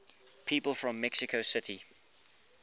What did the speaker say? people from mexico city